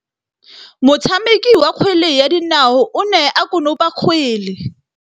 Motshameki wa kgwele ya dinaô o ne a konopa kgwele.